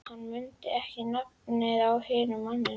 Hann mundi ekki nafnið á hinum manninum.